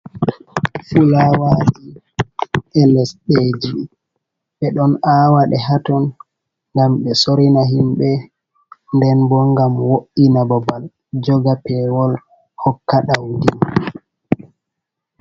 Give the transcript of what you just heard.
Fulawaji e lesɗeji ɓe ɗon a waɗe haton ngam ɓe sorina himɓɓe, nden bo ngam wo’ina babal joga pewol hokka ɗaudi.